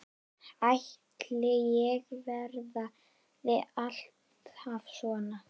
Ætli ég verði alltaf svona?